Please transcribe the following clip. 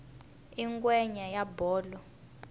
i ngwenya ya bolo